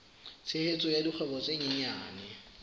tshehetso ya dikgwebo tse nyenyane